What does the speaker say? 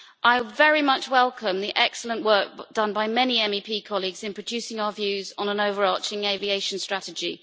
I very much welcome the excellent work done by many MEP colleagues in producing our views on an overarching aviation strategy.